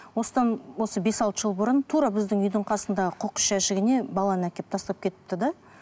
осыдан осы бес алты жыл бұрын тура біздің үйдің қасындағы қоқыс жәшігіне баланы әкеп тастап кетіпті де